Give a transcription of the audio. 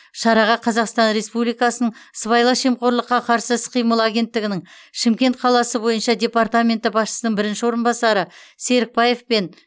шараға қазақстан республикасының сыбайлас жемқорлыққа қарсы іс қимыл агенттігінің шымкент қаласы бойынша департаменті басшысының бірінші орынбасары серікбаев пен